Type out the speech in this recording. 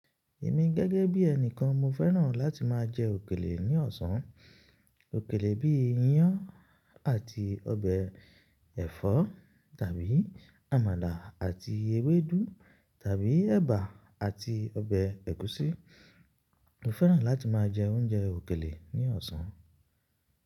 Èmi gẹ́gẹ́ bí ẹni kan mo fẹ́ràn láti máa jẹ òkèlè ní ọ̀sán. Òkèlè bíi iyán àti ọbẹ̀ ẹ̀fọ́ tàbí àmàlà àti ewédú tàbí ẹ̀bà àti ọbẹ̀ ẹ̀gúsí. Mo fẹ́ràn láti máa jẹ oúnjẹ òkèlè ní ọ̀sán.